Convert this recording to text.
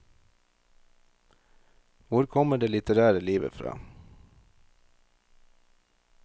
Hvor kommer det litterære livet fra?